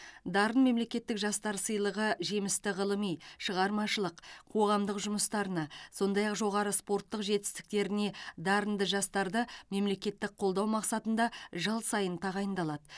дарын мемлекеттік жастар сыйлығы жемісті ғылыми шығармашылық қоғамдық жұмыстарына сондай ақ жоғары спорттық жетістіктеріне дарынды жастарды мемлекеттік қолдау мақсатында жыл сайын тағайындалады